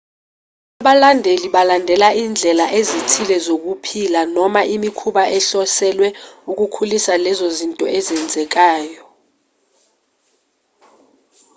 abalandeli balandela indlela ezithile zokuphila noma imikhuba ehloselwe ukukhulisa lezo zinto ezenzekayo